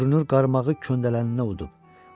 Görünür qarmağı köndələninə udub.